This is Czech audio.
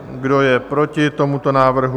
Kdo je proti tomuto návrhu?